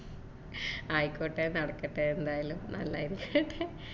ആയിക്കോട്ടെ നടക്കട്ടെ എന്തായാലും നല്ലന്നെ